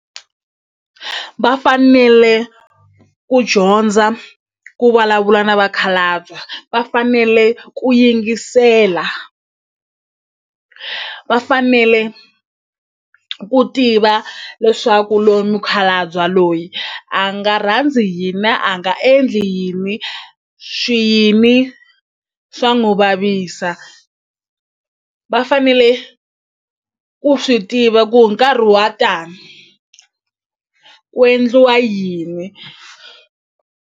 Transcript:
Vafanele ku dyondza ku vulavula na vakhalabya va fanele ku yingisela vafanele ku tiva leswaku lowu mukhalabye loyi a nga rhandzi yini a nga endli yini swi yini swa n'wu vavisa va fanele ku swi tiva ku hi nkarhi wa tani ku endliwa yini.